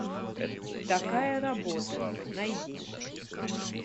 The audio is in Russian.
такая работа найди